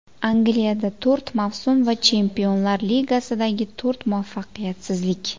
Angliyada to‘rt mavsum va Chempionlar Ligasidagi to‘rt muvaffaqiyatsizlik.